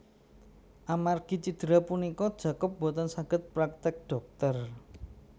Amargi cidera punika Jacob boten saged praktek dhokter